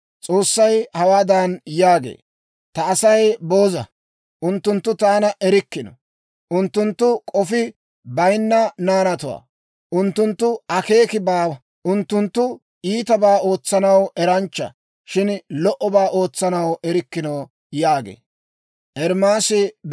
S'oossay hawaadan yaagee; «Ta Asay booza; unttunttu taana erikkino. Unttunttu k'ofi bayinna naanatuwaa; unttunttoo akeeki baawa. Unttunttu iitabaa ootsanaw eranchcha; shin lo"obaa ootsanaw erikkino» yaagee.